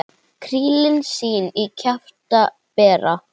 Krílin sín í kjafti bera.